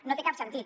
no té cap sentit